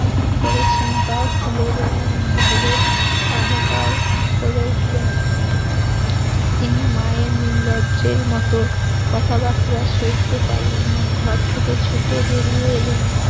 করেছেন তাও খুলে বললেন, ভরত হাহাকার করে উঠলেন তিনি মায়ের নির্লজ্জের মত কথাবার্তা সইতে পারলেন না ঘর থেকে ছুটে বেরিয়ে এলেন